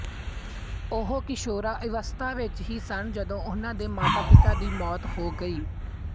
ਉਹ ਕਿਸ਼ੋਰਾਵਸਥਾ ਵਿੱਚ ਹੀ ਸਨ ਜਦੋਂ ਉਨ੍ਹਾਂ ਦੇ ਮਾਤਾਪਿਤਾ ਦੀ ਮੌਤ ਹੋ ਗਈ